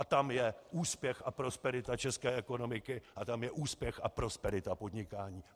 A tam je úspěch a prosperita české ekonomiky, a tam je úspěch a prosperita podnikání.